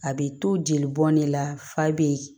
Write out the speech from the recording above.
A bɛ to jeli bɔn ne la fa be yen